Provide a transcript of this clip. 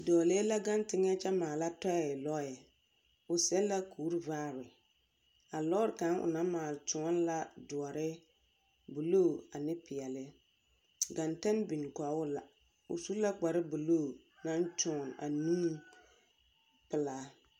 Dͻͻlee la gaŋe teŋԑ kyԑ maala tͻԑ lͻԑ. o seԑ la kuri vaare. A lͻͻre kaŋa onaŋ maale tõͻne la dõͻre, buluu ane peԑle. Genteŋ biŋ kͻge o la. O su la kpare buluu naŋ tõͻne a nuuri pelaa.